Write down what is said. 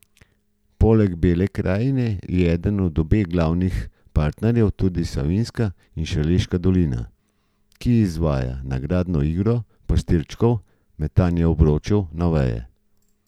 Poleg Bele krajine je eden od obeh glavnih partnerjev tudi Savinjska in Šaleška dolina, ki izvaja nagradno igro pastirčkov metanja obročev na veje.